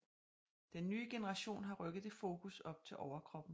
Den nye generation har rykket det fokus op til overkroppen